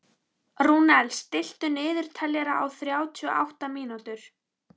Rúnel, stilltu niðurteljara á þrjátíu og átta mínútur.